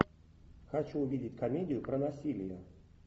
хочу увидеть комедию про насилие